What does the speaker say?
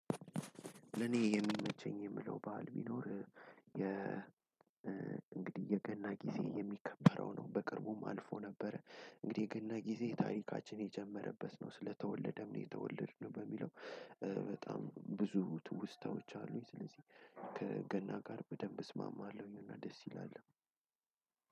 ለኔ የሚመቸኝ የምለው ባል ቢኖር የ እንግዲህ የገና ጊዜ የሚከበረው ነው። በቅርቡም አልፎ ነበረ እንግዲህ ግን ጊዜ ታሪካችን የጀመረበት ነው ስለተወለደም ነው የተወለድነው በሚለው። በጣም ብዙ ትውስታዎች አሉኝ ስለዚህ ከገና ጋር በደንብ እስማማለሁኝ። እና ደስ ይላል።